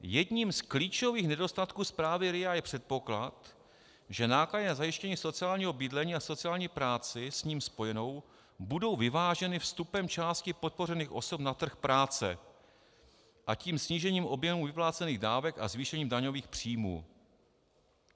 Jedním z klíčových nedostatků zprávy RIA je předpoklad, že náklady na zajištění sociálního bydlení a sociální práci s ním spojené budou vyváženy vstupem části podpořených osob na trh práce, a tím snížením objemu vyplácených dávek a zvýšením daňových příjmů.